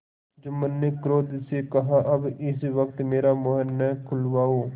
जुम्मन ने क्रोध से कहाअब इस वक्त मेरा मुँह न खुलवाओ